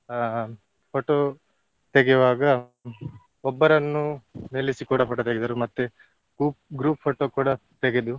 ಅಹ್ photo ತೆಗೆಯುವಾಗ ಒಬ್ಬರನ್ನು ನಿಲ್ಲಿಸಿ ಕೂಡ photo ತೆಗೆದರು ಮತ್ತೆ group group photo ಕೂಡ ತೆಗೆದು.